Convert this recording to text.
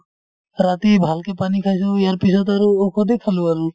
ৰাতি ভালকে পানী খাইছো ইয়াৰ পিছত আৰু ঔষধে খালো আৰু